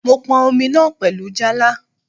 Mò n pọn Omi náà pẹ̀lú Jálá